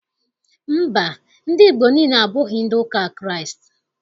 Mba, ndị Igbo niile, abụghị ndị ụka Kraịst.